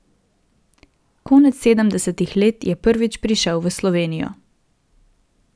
Konec sedemdesetih let je prvič prišel v Slovenijo.